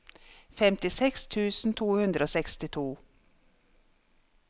femtiseks tusen to hundre og sekstito